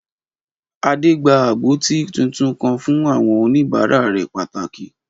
Adé gba agbọ́tí tuntun kan fún àwọn òníbàárà rẹ̀ pàtàkì